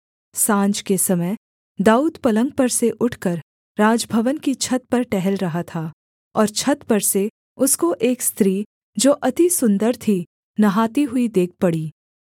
साँझ के समय दाऊद पलंग पर से उठकर राजभवन की छत पर टहल रहा था और छत पर से उसको एक स्त्री जो अति सुन्दर थी नहाती हुई देख पड़ी